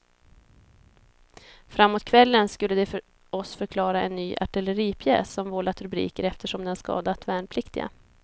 Framåt kvällen skulle de för oss förklara en ny artilleripjäs som vållat rubriker eftersom den skadat värnpliktiga.